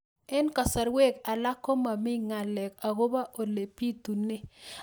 Eng' kasarwek alak ko mami ng'alek akopo ole pitunee